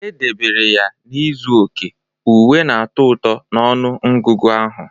Edebere ya na izu oke, uwe na-atọ ụtọ ọnụ ọgụgụ ahụ.